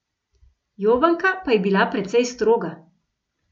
Jovanka pa je bila precej stroga.